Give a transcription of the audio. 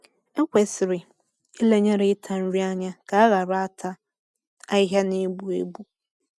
Ekwesịrị ilenyere ịta nri anya ka a ghara ata ahịhịa na-egbu egbu.